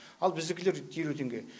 ал біздікілер елу теңге